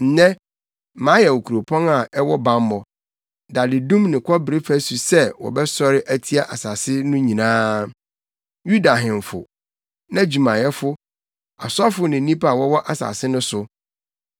Nnɛ, mayɛ wo kuropɔn a ɛwɔ bammɔ, dadedum ne kɔbere fasu sɛ wobɛsɔre atia asase no nyinaa, Yuda ahemfo, nʼadwumayɛfo, asɔfo ne nnipa a wɔwɔ asase no so.